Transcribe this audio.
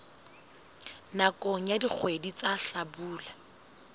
nakong ya dikgwedi tsa hlabula